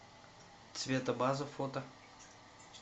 цветобаза фото